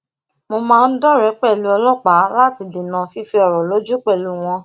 mo máa ń doree pelu olopaa lati dena fife oro loju pelu won